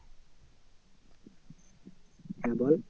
হ্যাঁ বল